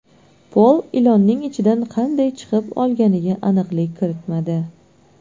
Pol ilonning ichidan qanday chiqib olganiga aniqlik kiritmadi.